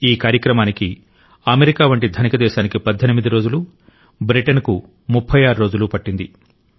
ఈ కార్యక్రమానికి అమెరికా వంటి ధనిక దేశానికి 18 రోజులు బ్రిటన్కు 36 రోజులు పట్టింది